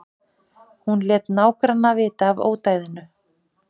Hún lét nágranna vita af ódæðinu